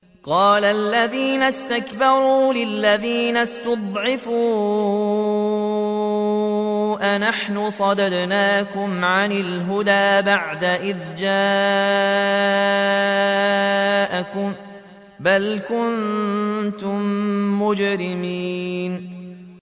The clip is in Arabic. قَالَ الَّذِينَ اسْتَكْبَرُوا لِلَّذِينَ اسْتُضْعِفُوا أَنَحْنُ صَدَدْنَاكُمْ عَنِ الْهُدَىٰ بَعْدَ إِذْ جَاءَكُم ۖ بَلْ كُنتُم مُّجْرِمِينَ